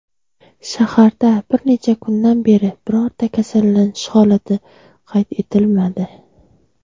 Shaharda bir necha kundan beri birorta kasallanish holati qayd etilmadi.